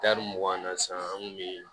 mugan na sisan an kun bɛ